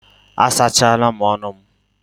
A sachala m ọnụ m.